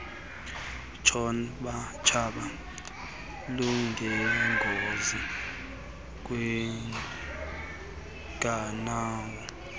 tshaba lunengozi kwiinqanawa